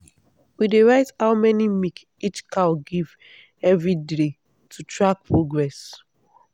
we dey write how many milk each cow give every day to track progress.